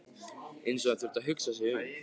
Eins og hann þyrfti að hugsa sig um.